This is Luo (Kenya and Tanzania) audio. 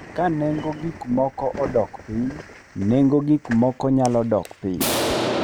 Ka nengo gik moko odok piny, nengo gik moko nyalo dok piny.